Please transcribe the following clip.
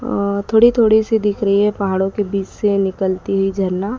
अ थोड़ी थोड़ी सी दिख रही है पहाड़ों के बीच से निकलती हुई झरना--